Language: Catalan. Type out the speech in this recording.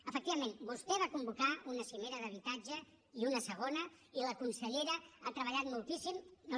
efectivament vostè va convocar una cimera d’habitatge i una segona i la consellera ha treballat moltíssim no li